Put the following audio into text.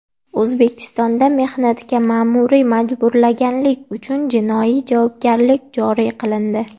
O‘zbekistonda mehnatga ma’muriy majburlaganlik uchun jinoiy javobgarlik joriy qilindi.